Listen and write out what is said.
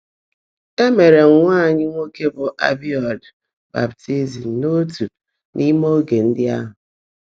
É meèré nwá ányị́ nwòké bụ́ Ábị́yuúdị́ bàptị́zị́m n’ótuú n’íimé óge ndị́ áhụ́.